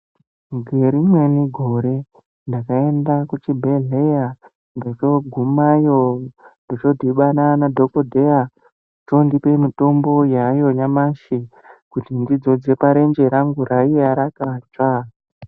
Ngerimweni gore ndakaenda kuchibhedhleya ndochogumayo ndochodhibana nadhokodheya ochondipa mutombo yaayo nyamashi kuti ndidzodze parenje rangu raiye rakatsva.